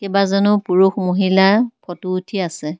কেবাজনো পুৰুষ মহিলা ফটো উঠি আছে।